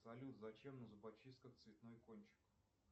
салют зачем на зубочистках цветной кончик